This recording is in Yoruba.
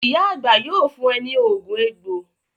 Ìyá àgbà yóò fún e ní oògùn egbò.